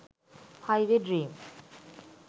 highway dream